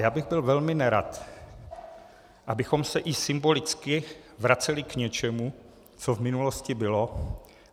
Já bych byl velmi nerad, abychom se i symbolicky vraceli k něčemu, co v minulosti bylo.